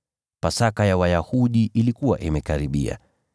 Pasaka ya Wayahudi ilikuwa imekaribia.